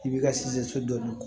I b'i ka so dɔ